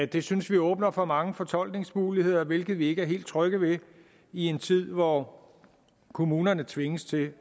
det synes vi åbner for mange fortolkningsmuligheder hvilket vi ikke er helt trygge ved i en tid hvor kommunerne tvinges til